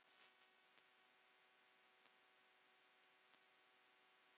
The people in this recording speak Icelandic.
Það hefur þróast þannig.